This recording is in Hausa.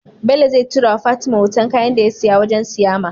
Bello zai tura wa fatima hoton kayan da yasiya wajan siyama